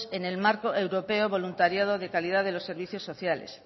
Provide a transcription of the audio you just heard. en el marco europeo de voluntariado de calidad de los servicios sociales